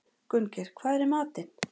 Gunngeir, hvað er í matinn?